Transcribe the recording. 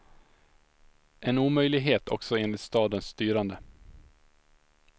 En omöjlighet också enligt stadens styrande.